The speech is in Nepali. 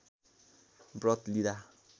व्रत लिँदा